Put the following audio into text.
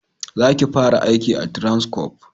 Za ki fara aiki a Transcorp!